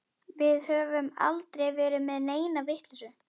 Við höfum aldrei verið með neina vitleysu.